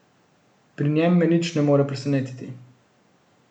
Pri njem me nič ne more presenetiti.